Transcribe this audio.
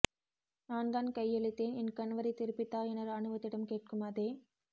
நான் தான் கையளித்தேன் என்கணவரை திருப்பித்தா என இராணுவத்திடம் கேட்கும் அதே